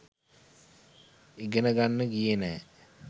ඉගෙන ගන්න ගියේ නැ.